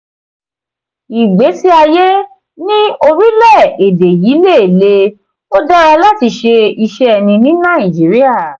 ìgbésí ayé ní orílẹ̀-èdè yii lè le; ó dára láti ṣe iṣẹ́ ẹni ní nàìjíríà.